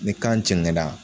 Ni kan cɛŋɛna